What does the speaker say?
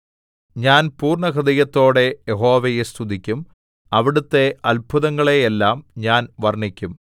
ഞാൻ പൂർണ്ണഹൃദയത്തോടെ യഹോവയെ സ്തുതിക്കും അവിടുത്തെ അത്ഭുതങ്ങളെയെല്ലാം ഞാൻ വർണ്ണിക്കും